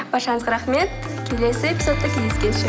баршаңызға рахмет келесі эпизодта кездескенше